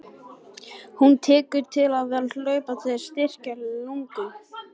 Hann tekur til við að hlaupa til að styrkja lungun.